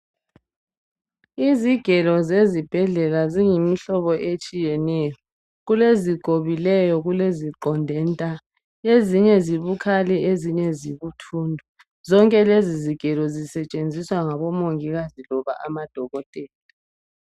Izigelo zezibhedlela ziyimhlobo etshiyeneyo , kulezigobileyo kuleziqonde nta , ezinye zibukhali ezinye zibuthundu , zonke lezizigelo zisetshenziswa ngomongikazi loba amadokotela